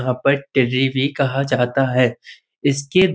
यहाँ पर टिर्री भी कहा जाता है इसके --